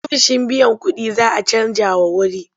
Ofishin biyan kuɗin za a canjawa wuri.